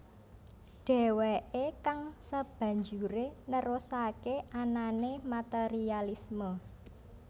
Deweke kang sebanjure nerusake anane materialisme